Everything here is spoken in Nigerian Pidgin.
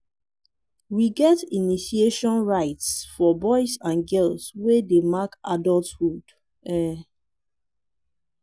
we get initiation rites for boys and girls wey dey mark adulthood. um